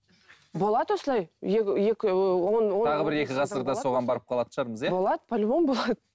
болады осылай тағы бір екі ғасырда соған барып қалатын шығармыз иә болады по любому болады